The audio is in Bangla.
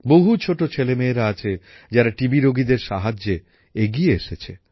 বহু ছোট ছেলেমেয়েরা আছে যারা টিবি রোগীদের সাহায্যে এগিয়ে এসেছে